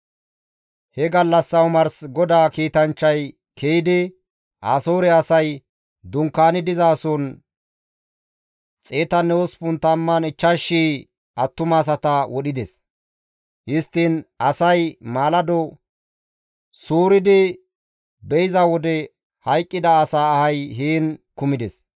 He gallassa omarsi GODAA kiitanchchay ke7idi, Asoore asay dunkkaani dizason, 185,000 attumasata wodhides. Histtiin asay maalado suuridi be7iza wode hayqqida asaa ahay heen kumides.